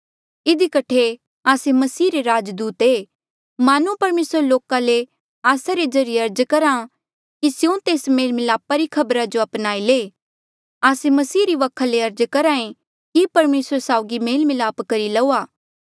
इधी कठे आस्से मसीह रे राजदूत ऐें मानो परमेसर लोका ले आस्सा रे ज्रीए अर्ज करहा कि स्यों तेस मेल मिलापा री खबरा जो अपनाई ले आस्से मसीह री वखा ले अर्ज करहा ऐें कि परमेसरा साउगी मेल मिलाप करी लऊआ